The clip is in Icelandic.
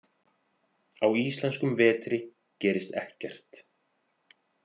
Á íslenskum vetri gerist ekkert.